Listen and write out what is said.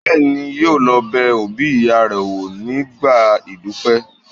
Bẹ́ẹ̀ni, yóò lọ bẹ òbí ìyá rẹ̀ wò nígbà ìdúpẹ́